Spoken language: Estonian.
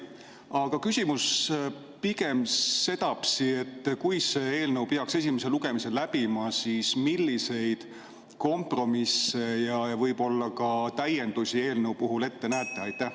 Aga küsimus on pigem sedapidi: kui see eelnõu peaks esimese lugemise läbima, siis milliseid kompromisse ja võib-olla ka täiendusi te eelnõu puhul ette näete?